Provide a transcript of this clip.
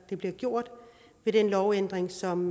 jeg bliver gjort ved den lovændring som